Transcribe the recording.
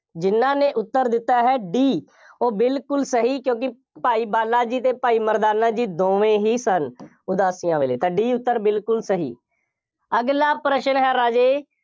ਜਿੰਨ੍ਹਾ ਨੇ ਉੱਤਰ ਦਿੱਤਾ ਹੈ D ਉਹ ਬਿਲਕੁੱਲ ਸਹੀ, ਕਿਉਂਕਿ ਭਾਈ ਬਾਲਾ ਜੀ ਅਤੇ ਭਾਈ ਮਰਦਾਨਾ ਜੀ, ਦੋਵੇਂ ਹੀ ਸਨ, ਉਦਾਸੀਆਂ ਵੇਲੇ, ਤਾਂ D ਉੱਤਰ ਬਿਲਕੁੱਲ ਸਹੀ। ਅਗਲਾ ਪ੍ਰਸ਼ਨ ਹੈ ਰਾਜੇ।